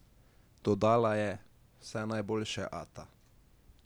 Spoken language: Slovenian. Dodala je: "Vse najboljše, ata.